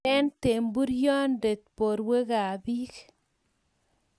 nyeren temburyonde borwekab biik